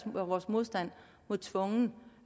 vores modstand mod tvungen